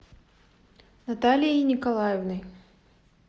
наталией николаевной